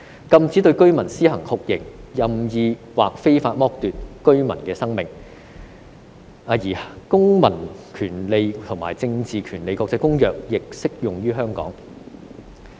禁止對居民施行酷刑、任意或非法剝奪居民的生命"，而《公民權利和政治權利國際公約》亦適用於香港。